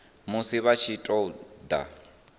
musi vha tshi ṱun ḓa